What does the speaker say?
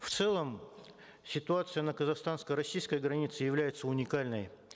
в целом ситуация на казахстанско российской границе является уникальной